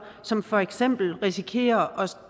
som for eksempel risikerer